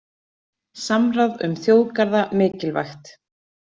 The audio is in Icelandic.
Samráð um þjóðgarða mikilvægt